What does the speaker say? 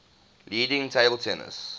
leading table tennis